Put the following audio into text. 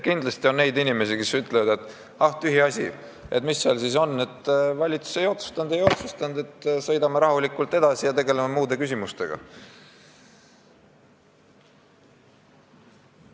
Kindlasti on neid inimesi, kes ütlevad, et ah, tühiasi, mis seal siis on – valitsus ei otsustanud, sõidame rahulikult edasi ja tegeleme muude küsimustega.